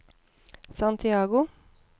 Santiago